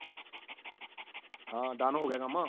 ਹਾਂ done ਹੋ ਗਿਆ ਕੰਮ